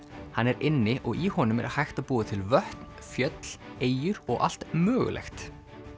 hann er inni og í honum er hægt að búa til vötn fjöll eyjur og allt mögulegt